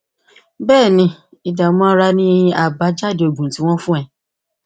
béè ni ìdààmú ara ni àbájáde oògùn tí wọn fún ọ